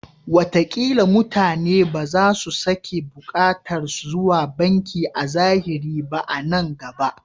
Watakila mutane ba za su sake buƙatar zuwa banki a zahiri ba a nan gaba.